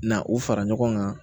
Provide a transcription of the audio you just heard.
Na u fara ɲɔgɔn kan